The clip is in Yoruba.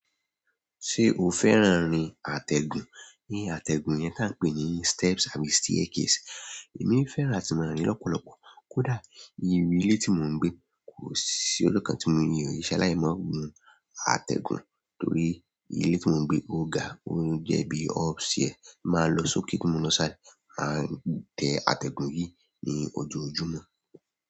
Ṣé o fẹ́ran rin àtẹ̀gùn? Ni àtẹ̀gùn yẹn tá ń pè ní steps àbí staircase. Èmi fẹ́ran atí ma rí lọ́pọ̀lọ́pọ̀. Kódà ni iru ilé tí mò ń gbé kò sí ọjọ́kàn tí mi nsalai ma gùn àtẹ̀gùn torí ilé tí mò ń gbé ó ga, ó ń jẹ́ bí upstair. Mà lọ sókè kí mò lọ sálẹ má tẹ àtẹ̀gùn yìí ní ojoojúmọ́.